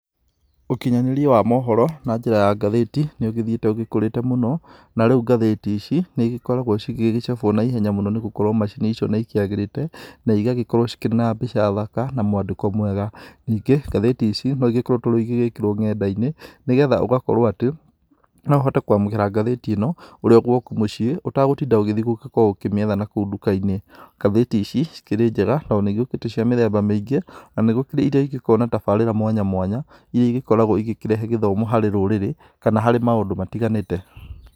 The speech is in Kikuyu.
Ũkinyanĩria wa mohoro na njĩra ya ngathĩti nĩ ũgĩthiĩte ũkũrĩte mũno, narĩu ngathĩti ici nigĩkoragwo cigĩcabwo na ihenya mũno nĩgũkorwo macini icio nĩ ikĩagĩrĩte na igagĩkorwo cikĩrĩ na mbica thaka na mwandĩko mwega. Ningĩ ngathĩti ici no igĩkoretwo igĩgĩkĩrwo nenda-inĩ nĩgetha ũgakorwo atĩ no ũhote kwamũkĩra ngathĩti ĩ no ũrĩ o gwaku mũciĩ ũtegũtinda ũgĩthiĩ gũkorwo ũkĩmĩetha na kũu nduka-inĩ. Ngathĩti ici ikĩrĩ njega tondũ nĩigĩũkĩte cia mĩthemba mĩingĩ na nĩgũkĩrĩ rĩa igĩkoragwo na tabarĩra mwanya mwanya, iria igĩkoragwo igĩkĩrehe gĩthomo harĩ rũrĩrĩ kana harĩ maũndũ matiganĩte.